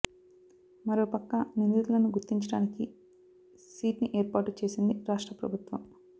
మరోపక్క నిందితులను గుర్తించడానికి సీట్ ని ఏర్పాటు చేసింది రాష్ట్ర ప్రభుత్వం